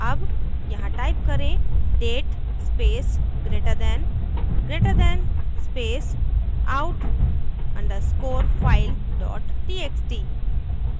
अब यहाँ type करेंः date space greater than greater than space out _ underscore file dot txt